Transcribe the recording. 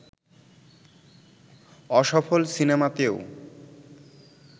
অসফল সিনেমাতেও